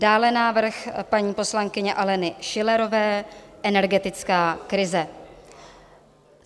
Dále návrh paní poslankyně Aleny Schillerové - Energetická krize.